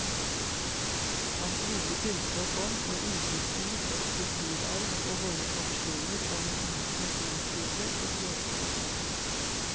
Hans rike kunnskap om og innsikt i vår kulturarv og våre tradisjoner var en inspirasjonskilde og glede for oss alle.